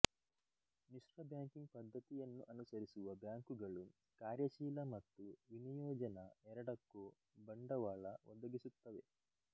ಮಿಶ್ರಬ್ಯಾಂಕಿಂಗ್ ಪದ್ದತಿಯನ್ನು ಅನುಸರಿಸುವ ಬ್ಯಾಂಕುಗಳು ಕಾರ್ಯಶೀಲ ಮತ್ತು ವಿನಿಯೋಜನ ಎರಡಕ್ಕೊ ಬಂಡವಾಳ ಒದಗಿಸುತ್ತವೆ